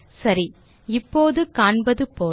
சரி இப்போது காண்பது போல